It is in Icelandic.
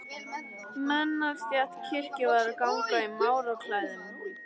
Menn af stétt kirkjuvarðar ganga í máraklæðum.